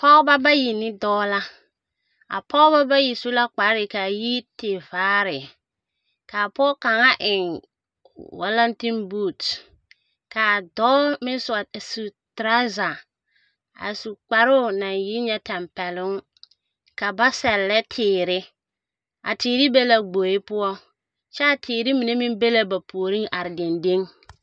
Pɔgeba bayi ne dɔɔ la. A pɔgeba bayi su la kpare ka a yi tevaare ka pɔge kaŋa eŋ walantembuuti ka dɔɔ meŋ sɔre te su teraaza a su kparoo naŋ yi nyɛ tɛmpɛloŋ ka ba sɛllɛ teere ateere be gboe poɔ kyɛ a teere mine meŋ be ba puoriŋ are dendeŋ.